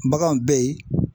Baganw bɛ yen